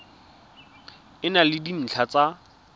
e na le dintlha tsa